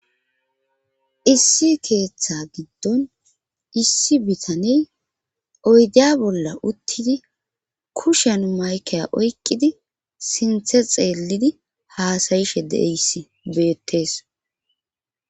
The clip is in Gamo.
issi keeththa giddon issi bitaney oydiya bolla uttidi kushen maykeya oykkidi sinthe xeellidi haasayishe deeis beettees